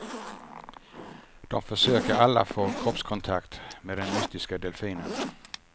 De försöker alla få kroppskontakt med den mystiska delfinen.